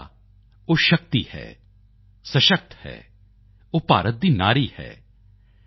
ਮਹਿਲਾ ਉਹ ਸ਼ਕਤੀ ਹੈ ਸਸ਼ਕਤ ਹੈ ਉਹ ਭਾਰਤ ਦੀ ਨਾਰੀ ਹੈ